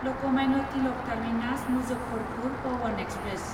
Lokmanya Tilak terminus Muzaffarpur Pawan express